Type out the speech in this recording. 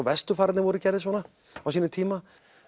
vesturfararnir voru gerðir svona á sínum tíma